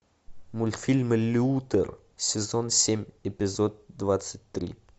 мультфильм лютер сезон семь эпизод двадцать три